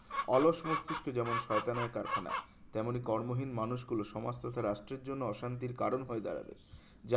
অলস মস্তিষ্কে যেমন শয়তানের কারখানা তেমনি কর্মহীন মানুষগুলো সমাজ তো তার রাষ্ট্রের জন্য অশান্তির কারণ হয়ে দাঁড়াবে যা